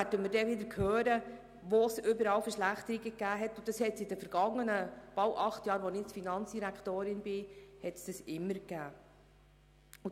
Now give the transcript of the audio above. Dann werden wir wieder hören, wo es überall Verschlechterungen gegeben hat, und solche hat es in den vergangenen fast acht Jahren, während denen ich Finanzdirektorin bin, immer gegeben.